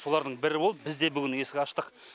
солардың бірі болып біз де бүгін есік аштық